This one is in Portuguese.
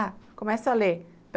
Ah, começa a ler.